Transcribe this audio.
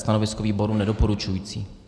Stanovisko výboru nedoporučující.